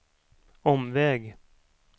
omväg